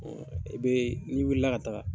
Ɔ e be n'i wuli la ka taa